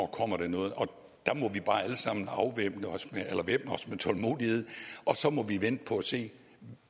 kommer noget og der må vi bare allesammen væbne os med tålmodighed og så må vi vente og se